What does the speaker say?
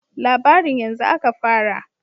"Labarin yanzu aka fara."